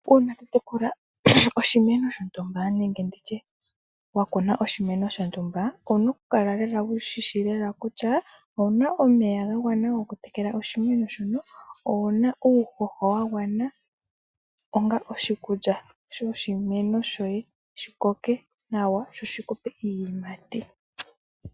Uuna wa kuna oshimeno shontumba, owu na okukala lela wu shi shi kutya owu na omeya ga gwana okutekela oshimeno shoka, owu na uuhoho wa gwana onga oshikulya shoshimeno shoye, shi koke nawa sho shi ku pe iiyimati.